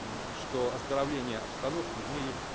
что оздоровления обстановки в мире